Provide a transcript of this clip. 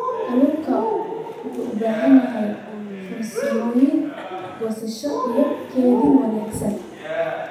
Kalluunku wuxuu u baahan yahay farsamooyin goosasho iyo kaydin wanaagsan.